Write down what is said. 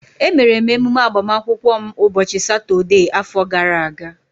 Emere m emume agbamakwụkwọ m ụbọchị Satọdee afọ gara aga